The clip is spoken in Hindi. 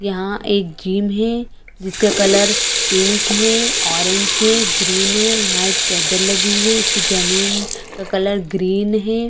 यहाँ एक जिम है जिसका कलर पिंक है ऑरेंज है ग्रीन है यहाँ एक चद्दर लगी हुई है इसकी जमीन का कलर ग्रीन हैं।